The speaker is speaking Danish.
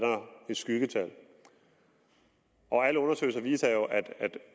skyggetal alle undersøgelser viser jo at